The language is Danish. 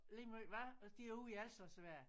Lige meget hvad og de er ude i al slags vejr